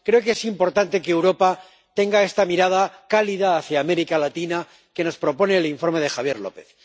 Creo que es importante que Europa tenga la mirada cálida hacia América Latina que nos propone el informe de Javier López.